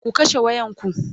ku kashe wayan ku!